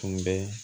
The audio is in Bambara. Tun bɛ